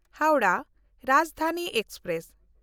Howrah Rajdhani express